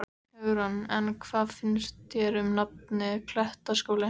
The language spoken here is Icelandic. Hugrún: En hvað finnst þér um nafnið, Klettaskóli?